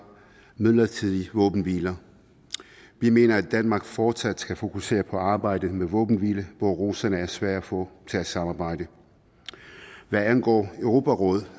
midlertidige våbenhviler vi mener at danmark fortsat skal fokusere på arbejdet med våbenhvile hvor russerne er svære at få til at samarbejde hvad angår europarådet